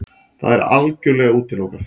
Það er algjörlega útilokað!